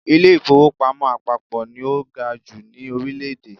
Ilé-ìfowópamọ́ àpapọ̀ ni ó ga jù ní Orílẹ̀dè